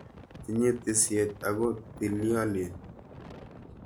Tinye tisiet ako tiliolen.